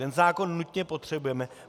Ten zákon nutně potřebujeme.